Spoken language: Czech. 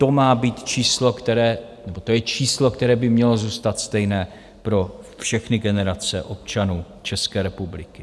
To je číslo, které by mělo zůstat stejné pro všechny generace občanů České republiky.